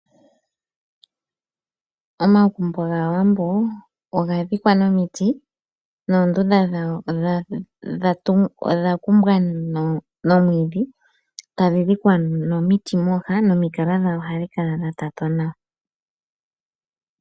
Omagumbo gaawambo oga dhikwa nomiti noondunda dhawo odha kumbwa nomwiidhi, tadhi dhikwa nomiti mooha nomikala dha wo ohadhi kala dha tatwa nawa.